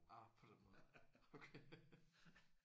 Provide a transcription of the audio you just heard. Ah på den måde okay